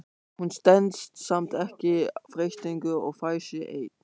Hún stenst samt ekki freistinguna og fær sér einn.